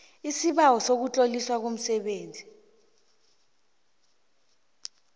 lsibawo sokutloliswa komenzi